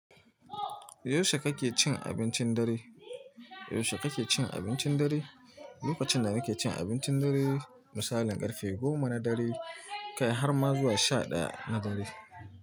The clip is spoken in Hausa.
Yaushe kake cin abincin dare? Yaushe kake cin abincin dare? Lokacin da nake cin abincin dare misali ƙarfe goma na dare kai har ma zuwa sha ɗaya na dare.